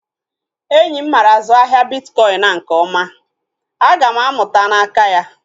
Enyi m mara azụ ahịa bitkọin a nke ọma. Aga m amụta n'aka ya